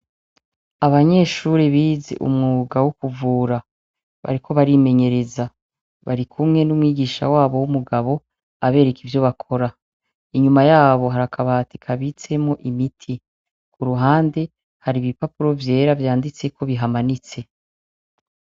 Abanyeshure bize umwuga wo ukuvura, bariko barimenyereza, bari kumwe n'umwigisha wabo w'umugabo abereka ivyo bakora, inyuma yabo harakabatika bitsemo imiti, ku ruhande hari ibipapuro vyera vyanditseko bihamanitse.